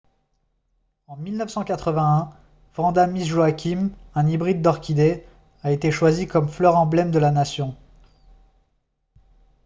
en 1981 vanda miss joaquim un hybride d'orchidée a été choisie comme fleur emblème de la nation